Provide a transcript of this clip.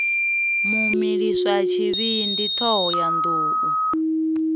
mu milisa tshivhindi thohoyanḓ ou